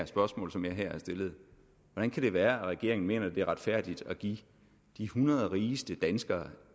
spørgsmål som jeg her har stillet hvordan kan det være at regeringen mener det er retfærdigt at give de hundrede rigeste danskere